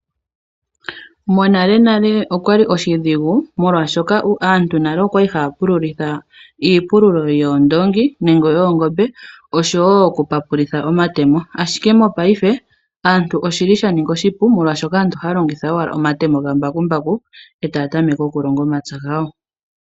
Monalenale oshali oshidhigu oshoka aantu oya li haya pululitha iipilulo yoondongi nenge yoongombe osho wo okupapulitha omatemo. Ashike mopaife oshili sha ninga oshipu, molwaashoka aantu ohaya longitha owala omatemo gambakumbaku etaya tameke okulonga omapya gawo.